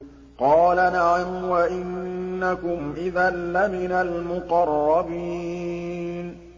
قَالَ نَعَمْ وَإِنَّكُمْ إِذًا لَّمِنَ الْمُقَرَّبِينَ